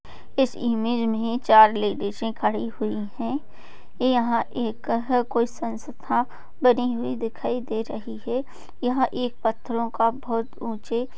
इस इमेज में चार लेडीसे खड़ी हुई हैं यहाँ एक ह कोई संस्था बनी हुई दिखाई दे रही है यहाँ एक पत्थरों का बहुत ऊंचे --